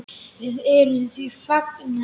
Og við erum því fegnar.